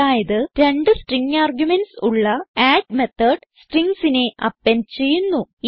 അതായത് രണ്ട് string arguments ഉള്ള അഡ് മെത്തോട് stringsനെ അപ്പെൻഡ് ചെയ്യുന്നു